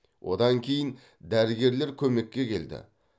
одан кейін дәрігерлер көмекке келді